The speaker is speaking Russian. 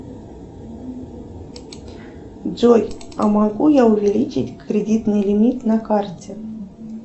джой а могу я увеличить кредитный лимит на карте